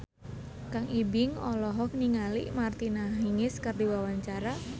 Kang Ibing olohok ningali Martina Hingis keur diwawancara